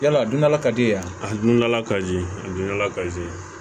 Yala a dun la ka di yan a dun dala ka di a dundala kazi